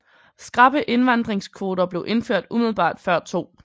Skrappe indvandringskvoter blev indført umiddelbart før 2